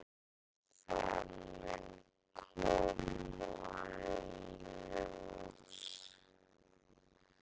"""Já, það mun koma í ljós."""